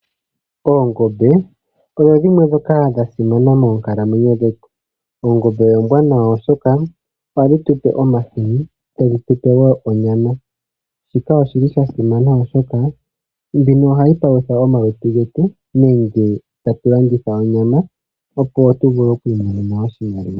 Oongombe odho dhimwe ndhoka dha simana moonkalamwenyo dhetu. Oongombe oombwanawa oshoka ohadhi tupe omahini, tadhi tupe woo onyama . Shika oshi li sha simana oshoka mbino ohayi palutha omalutu getu nenge tatu landitha onyama opo tu vule okwimonena oshimaliwa.